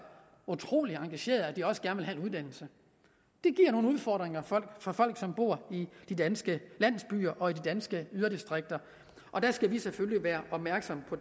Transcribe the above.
utrolig engagerede at de også at ville have en uddannelse det giver nogle udfordringer for folk som bor i de danske landsbyer og i de danske yderdistrikter og det skal vi selvfølgelig være opmærksomme på